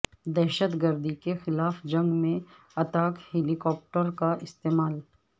دہشت گردی کے خلاف جنگ میں اتاک ہیلی کاپٹروں کا استعمال